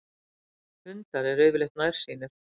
hundar eru yfirleitt nærsýnir